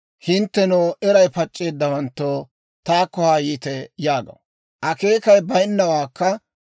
«Hinttenoo, eray pac'c'eeddawanttoo, taakko haa yiite» yaagaw. Akeekay bayinnawaakka,